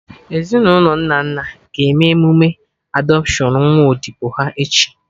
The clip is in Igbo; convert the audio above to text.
Ezinụlọ Nnanna ga-eme eme emụme adọpshion nwa odibo ha, echi